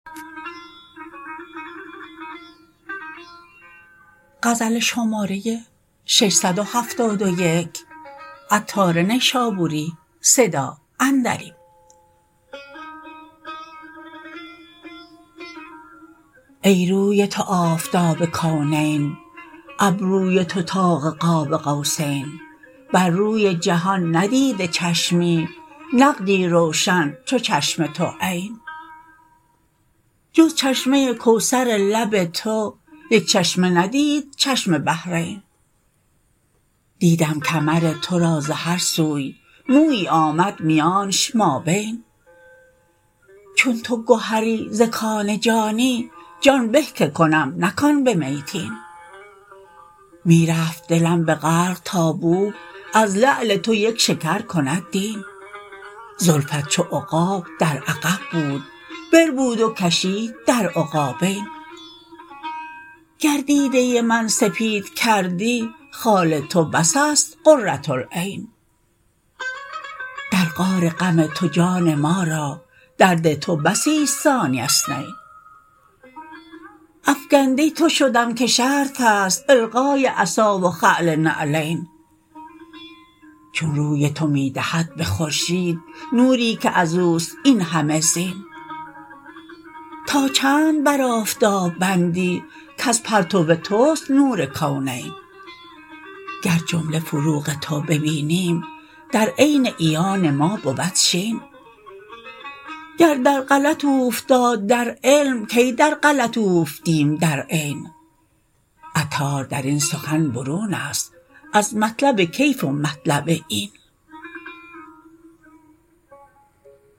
ای روی تو آفتاب کونین ابروی تو طاق قاب قوسین بر روی جهان ندیده چشمی نقدی روشن چو چشم تو عین جز چشمه کوثر لب تو یک چشمه ندید چشم بحرین دیدم کمر تو را ز هر سوی مویی آمد میانش مابین چون تو گهری ز کان جانی جان به که کنم نه کان به میتین می رفت دلم به غرق تا بوک از لعل تو یک شکر کند دین زلفت چو عقاب در عقب بود بربود و کشید در عقابین گر دیده من سپید کردی خال تو بس است قرةالعین در غار غم تو جان ما را درد تو بسی است ثانی اثنین افکنده تو شدم که شرط است القای عصا و خلع نعلین چون روی تو می دهد به خورشید نوری که ازوست این همه زین تا چند بر آفتاب بندی کز پرتو توست نور کونین گر جمله فروغ تو ببینیم در عین عیان ما بود شین گر در غلط اوفتاد در علم کی در غلط اوفتیم در عین عطار درین سخن برون است از مطلب کیف و مطلب این